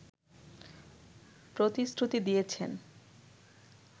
প্রতিশ্রুতি দিয়েছেন